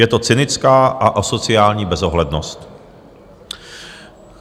Je to cynická a asociální bezohlednost.